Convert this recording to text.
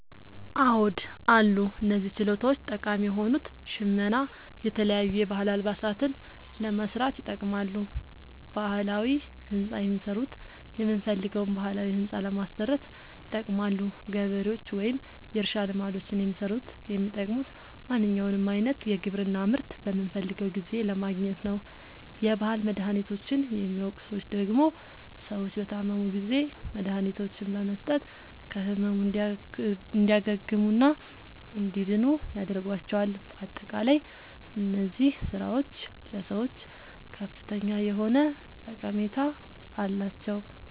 አዎድ አሉ። እነዚህ ችሎታዎች ጠቃሚ የሆኑት ሸመና የተለያዩ የባህል አልባሳትን ለመስራት ይጠቅማሉ። ባህላዊ ህንፃ የሚሠሩት የምንፈልገዉን ባህላዊ ህንፃ ለማሠራት ይጠቅማሉ። ገበሬዎች ወይም የእርሻ ልማዶችን የሚሠሩት የሚጠቅሙት ማንኛዉንም አይነት የግብርና ምርት በምንፈልገዉ ጊዜ ለማግኘት ነዉ። የባህል መድሀኒቶችን የሚያዉቁ ሠዎች ደግሞ ሰዎች በታመሙ ጊዜ መድሀኒቶችን በመስጠት ከህመሙ እንዲያግሙና እንዲድኑ ያደርጓቸዋል። በአጠቃላይ እነዚህ ስራዎች ለሰዎች ከፍተኛ የሆነ ጠቀሜታ አላቸዉ።